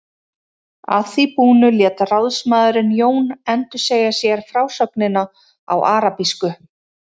Að því búnu lét ráðsmaðurinn Jón endursegja sér frásögnina á arabísku.